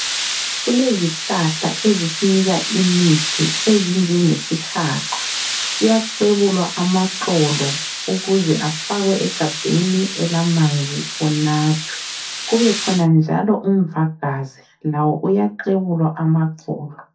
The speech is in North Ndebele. Kulezihlahla ezisinika imithi ezinjenge sihaqa kuyaklwebulwa amaxolo ukuze efakwe egabheni elamanzi unathwe .Kubekhona njalo umvagazi lawo uyaklwebulwa amaxolo.